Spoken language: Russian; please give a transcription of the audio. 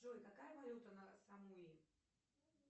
джой какая валюта на самуи